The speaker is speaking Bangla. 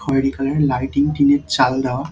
খয়েরি কালার -এর লাইটিং টিন -এর চাল দেয়া ।